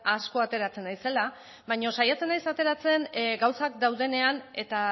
asko ateratzen naizela baina saiatzen naiz ateratzen gauzak daudenean eta